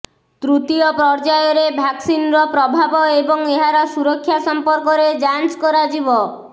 ତୃତୀୟ ପର୍ଯ୍ୟାୟରେ ଭ୍ୟାକ୍ସିନର ପ୍ରଭାବ ଏବଂ ଏହାର ସୁରକ୍ଷା ସମ୍ପର୍କରେ ଯାଞ୍ଚ କରାଯିବ